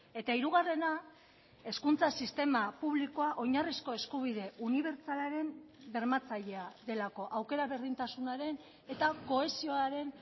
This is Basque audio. eta hirugarrena hezkuntza sistema publikoa oinarrizko eskubide unibertsalaren bermatzailea delako aukera berdintasunaren eta kohesioaren